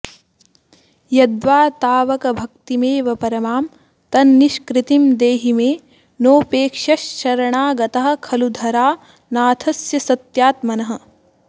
यद्वा तावकभक्तिमेव परमां तन्निष्कृतिं देहि मे नोपेक्ष्यश्शरणागतः खलु धरानाथस्य सत्यात्मनः